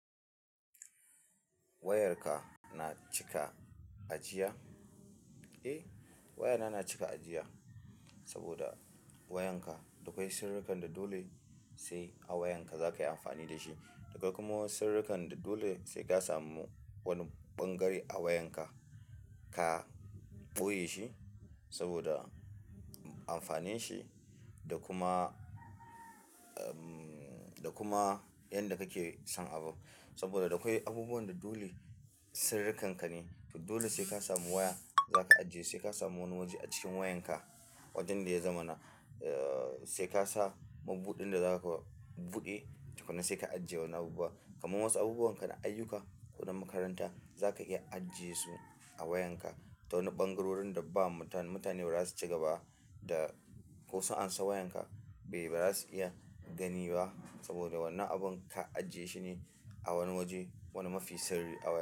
Wayarka na cika ajiya? Eh, wayana na cika ajiya saboda wayanka dakwai sirrikan da dole sai a wayanka zakayi amfani da shi. Akwai kuma wasu sirrikan da dole saika samu wani ɓangare a wayanka ka ɓoyeshi saboda amfanin shi da kuma, da kuma yanda kake son abun. Saboda da akwai abubuwan da dole sirrikanka ne, to dole sai ka samu waya zaka ajiye, sai ka samu wani waje a cikin wayanka. Wajan da ya zama na, sai ka sa mabuɗin da zaka buɗe tukunna sai ka ajiye wani abubuwa. Kaman wasu abubuwanka na ayyuka ko na makaranta zaka iya ajiye su a wayanka ta wani ɓangarorin da ba mutane ba za su ci gaba da ko su an san wayanka bai ba za su iya gani ba saboda wannan abun ka ajiye shi ne a wani waje, wani mafi sirri a waya.